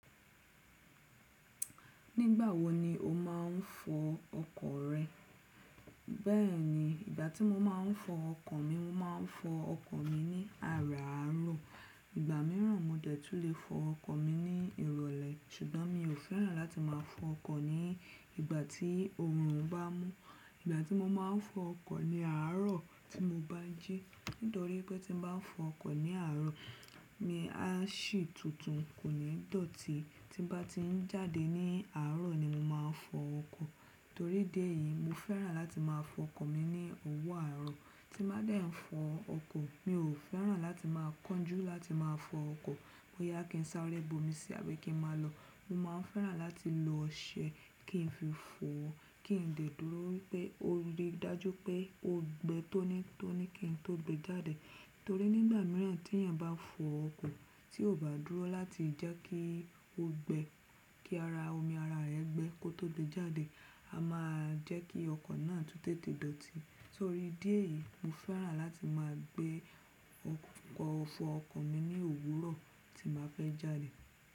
Nígbà wo ni o máa ń fọ ọkọ̀ rẹ? Bẹ́ẹ̀ni, ìgbà tí mo máa ń fọ ọkọ̀ mi, mo máa ń fọ ọkọ̀ mi ní àràárọ̀. Ìgbà mìíràn mo dẹ́tù le fọ ọkọ̀ mi ní ìrọ̀lẹ́ ṣùgbọ́n mi ò fẹ́ràn láti máa fọ ọkọ̀ ní ìgbà tí oòrùn bá mú. Ìgbà tí mo máa ń fọ ọkọ̀ ni àárọ̀ tí mo bá jí. Nítorí pé tí mo bá fọ ọkọ̀ ní àárọ̀, mi á sì tuntun kò ní dọ̀tí. Ti bá ti ń jáde ní àárọ̀ ni mo máa fọ ọkọ̀. Torí dí èyí, mo fẹ́ràn láti máa fọ ọkọ̀ mi ní òwú àárọ̀. Tí bá dẹ́ ń fọ ọkọ̀, mi ò fẹ́ràn láti máa kánjú láti máa fọ ọkọ̀ bóyá kí n sáré bo mi sí àbí kí n máa lọ. Mo máa ń fẹ́ràn láti lo ọṣẹ kí n fi fọ kí n dè dúró wi pé ó lè dájú pé ó gbe tó ní tó ní kí n tó gbe jáde. Torí nígbà mìíràn tí èèyàn bá fọ ọkọ̀ tí ò bá dúró láti jẹ́ kí ó gbe kí ara omi ara rẹ gbe kó tó gbe jáde, a máa jẹ́ kí ọkọ̀ náà tú tètè dọ̀tí. Torí dí èyí, mo fẹ́ràn láti máa gbé ọkọ̀ fọ ọkọ̀ mi ní òwúrọ̀ tí màá fẹ́ jáde.